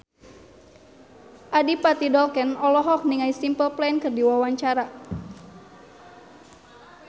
Adipati Dolken olohok ningali Simple Plan keur diwawancara